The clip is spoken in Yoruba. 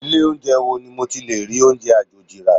Ilé oúnjẹ wo ni mo ti lè rí oúnjẹ àjòjì rà?